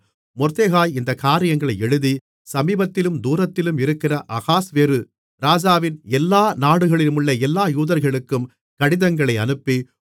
மொர்தெகாய் இந்தக் காரியங்களை எழுதி சமீபத்திலும் தூரத்திலும் இருக்கிற அகாஸ்வேரு ராஜாவின் எல்லா நாடுகளிலுமுள்ள எல்லா யூதர்களுக்கும் கடிதங்களை அனுப்பி